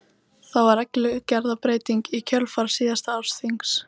Það var reglugerðarbreyting í kjölfar síðasta ársþings.